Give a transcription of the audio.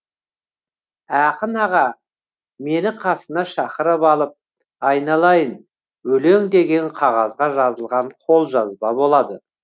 ақын аға мені қасына шақырып алып айналайын өлең деген қағазға жазылған қолжазба болады